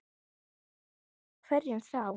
Heldur hverjum þá?